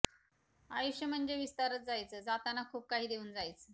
आयुश्य म्हणजे विस्तारत जायच जाताना खुप काहि देवुन जायच